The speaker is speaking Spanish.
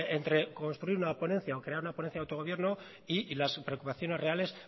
entre construir una ponencia o crear una ponencia de autogobierno y las preocupaciones reales